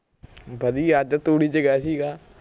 ਵਧੀਆ ਅੱਜ ਤੂੜੀ ਚ ਗਿਆ ਸੀਗਾ